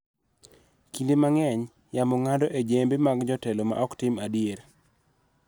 Kinde mang�eny, yamo ng�ado e jembe mag jotelo ma ok tim adier,